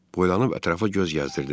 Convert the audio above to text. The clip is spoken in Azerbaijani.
Boylanıb ətrafa göz gəzdirdim.